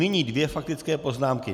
Nyní dvě faktické poznámky.